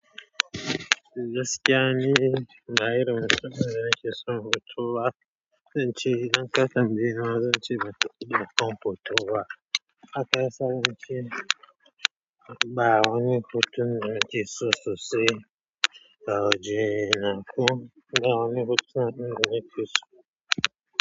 Gaskiya ni, ba irin mutum bane da nake son hoto ba, zan ce idan ka tambayeni ma zance ban taba daukan hoto ba. Haka ya sa na ce. Ba wani hotunan da ake sosai a wajena. Ba wani hotunan din da nake so.